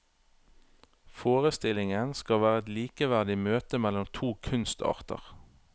Forestillingen skal være et likeverdig møte mellom to kunstarter.